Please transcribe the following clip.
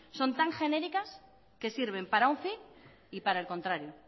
son tan genéricas que sirven para un fin y para el contrario